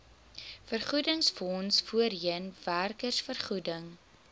vergoedingsfonds voorheen werkersvergoeding